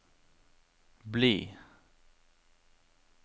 bli